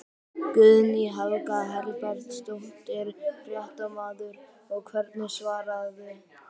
Guðný Helga Herbertsdóttir, fréttamaður: Og hverju svararðu?